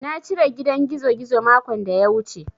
Na cire gidan gizogizo makon da ya wuce.